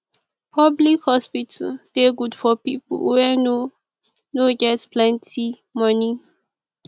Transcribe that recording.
public hospital dey good for people wey no no get plenty monie